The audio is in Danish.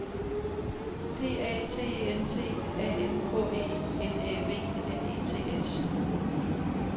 P A T E N T A N K E N Æ V N E T S